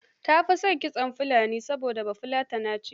Ta fi son kitson Fulani, saboda Bafulatana ce.